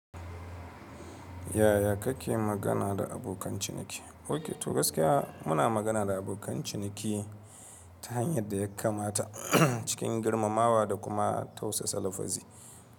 Yaya kake magana da abokan ciniki? Ok, to gaskiya muna magana da abokan ciniki ta hanyar da ya kamata cikin girmamawa da kuma tausasa lafazi.